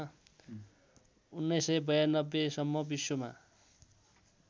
१९९२ सम्म विश्वमा